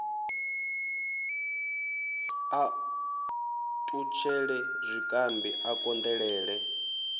a ṱutshele zwikambi a konḓelele